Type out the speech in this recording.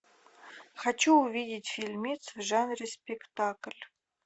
хочу увидеть фильмец в жанре спектакль